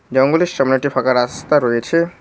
জঙ্গলের সামনে একটি ফাঁকা রাস্তা রয়েছে।